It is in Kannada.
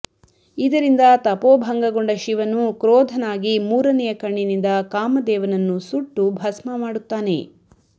ಇದರಿಂದ ತಪೋಭಂಗಗೊಂಡ ಶಿವನು ಕ್ರೋಧನಾಗಿ ಮೂರನೆಯ ಕಣ್ಣಿನಿಂದ ಕಾಮದೇವನನ್ನು ಸುಟ್ಟು ಭಸ್ಮ ಮಾಡುತ್ತಾನೆ